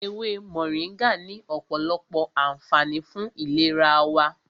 Ewé Mọ̀ríngà ní ọ̀pọ̀lọpọ̀ ànfààní fún ìlera wa.